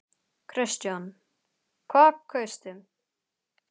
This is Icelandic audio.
Kristján: Hvað kaustu?